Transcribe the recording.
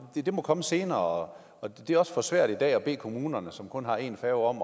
at det må komme senere og at det også er for svært i dag at bede kommunerne som kun har en færge om